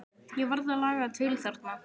Ég varð að laga til þarna.